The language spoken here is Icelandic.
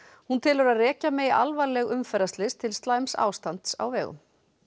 hún telur að rekja megi alvarleg umferðarslys til slæms ástands á vegum